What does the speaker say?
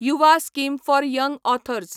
Yuva scheme for young authors